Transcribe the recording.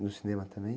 No cinema também?